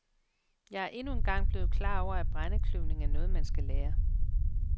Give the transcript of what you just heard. Jeg er endnu engang blevet klar over, at brændekløvning er noget, man skal lære.